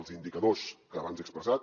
els indicadors que abans he expressat